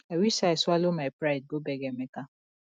i wish say i swallow my pride go beg emeka